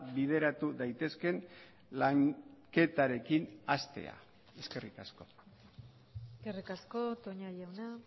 bideratu daitezkeen lanketarekin hastea eskerrik asko eskerrik asko toña jauna